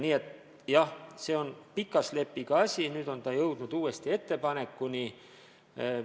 Nii et jah, see on pika slepiga probleem, nüüd oleme jõudnud uuesti ettepanekuni.